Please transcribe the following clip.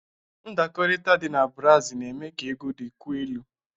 Ndakọrịta dị na brasi na-eme ka egwu dịkwuo elu.